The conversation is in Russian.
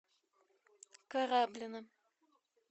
кораблино